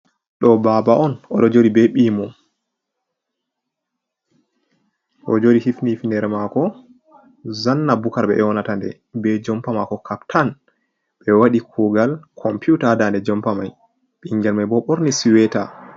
Ɗo baaba on, o ɗo jooɗi be ɓii mum, o ɗo jooɗi hifni hifneere maako, zanna bukar ɓe ƴoonata nde, be jompa maako kaptan, ɓe waɗi kuugal kompiwta, haa daande jompa may, ɓinngel may bo, ɓorni suweeta.